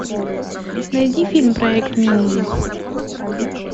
найди фильм проект минди